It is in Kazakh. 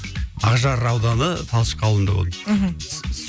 ақжар ауданы талшық ауылында болдым мхм